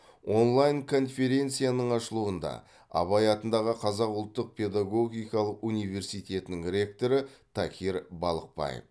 онлайн конференцияның ашылуында абай атындағы қазақ ұлттық педагогикалық университетінің ректоры такир балықбаев